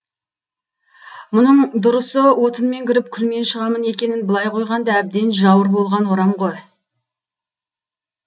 мұның дұрысы отынмен кіріп күлмен шығамын екенін былай қойғанда әбден жауыр болған орам ғой